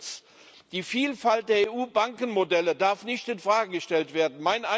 Viertens Die Vielfalt der EU Bankenmodelle darf nicht infrage gestellt werden.